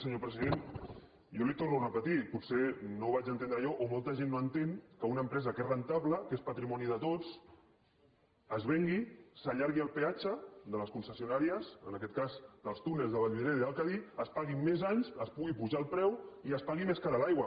senyor president jo li ho torno a repetir potser no ho vaig entendre jo o molta gent no entén que una empresa que és rendible que és patrimoni de tots es vengui s’allargui el peatge de les concessionàries en aquest cas dels túnels de vallvidrera i el cadí es paguin més anys es pugui apujar el preu i es pagui més cara l’aigua